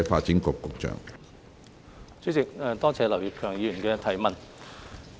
主席，多謝劉業強議員的質詢。